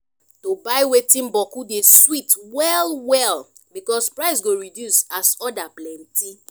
to buy wetin bokku dey sweet well well because price go reduce as order plenti